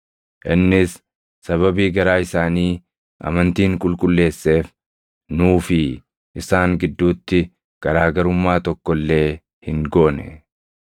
Innis sababii garaa isaanii amantiin qulqulleesseef, nuu fi isaan gidduutti garaa garummaa tokko illee hin goone.